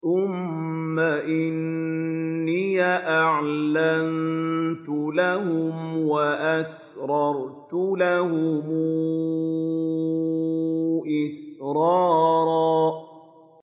ثُمَّ إِنِّي أَعْلَنتُ لَهُمْ وَأَسْرَرْتُ لَهُمْ إِسْرَارًا